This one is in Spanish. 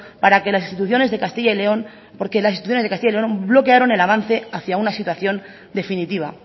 porque las instituciones de castilla y león bloquearon el avance hacia una situación definitiva